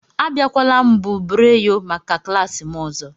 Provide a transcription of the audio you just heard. Abịala mbubreyo maka klas m ọzọ!